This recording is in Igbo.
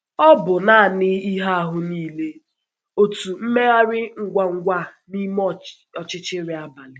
Ò bụ naanị ihe ahụ niile, otu mmegharị ngwa ngwa n’ime ọchịchịrị abalị?